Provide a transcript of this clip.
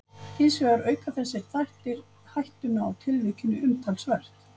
Hins vegar auka þessir þættir hættuna á tilvikinu umtalsvert.